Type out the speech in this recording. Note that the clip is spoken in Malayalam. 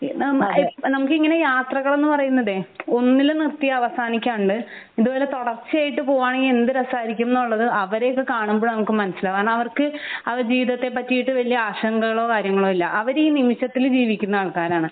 നമു നമുക്കിങ്ങനെ യാത്രകൾ എന്ന് പറയുന്നതേ ഒന്നിൽ നിർത്തി അവസാനിക്കാണ്ട് ഇതുപോലെ തുടർച്ചയായിട്ട് പോവേണെങ്കി എന്ത് രസായിരിക്കും എന്നുള്ളത് അവരെയൊക്കെ കാണുമ്പോഴാണ് നമുക്ക് മനസ്സിലാവേ കാരണം അവർക്ക് അവരുടെ ജീവിതത്തെ പറ്റിയിട്ട് വല്യ ആശങ്കകളോ കാര്യങ്ങളോ ഇല്ല അവര് ഈ നിമിഷത്തിൽ ജീവിക്കുന്ന ആൾക്കാരാണ്